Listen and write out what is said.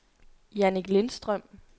Jannik Lindstrøm